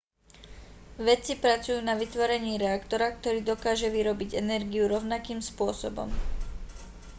vedci pracujú na vytvorení reaktora ktorý dokáže vyrobiť energiu rovnakým spôsobom